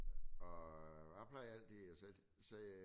Og jeg plejer altid at sætte